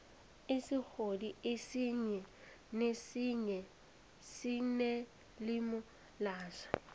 isigodi esinye nesinye sinelimi laso